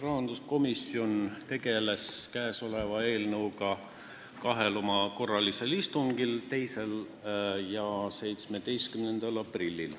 Rahanduskomisjon tegeles käesoleva eelnõuga kahel korralisel istungil: 2. ja 17. aprillil.